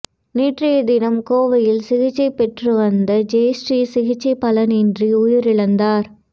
நேற்றைய தினம் கோவையில் சிகிச்சை பெற்று வந்த ஜெயஸ்ரீ சிகிச்சை பலனின்றி உயிரிழந்தார்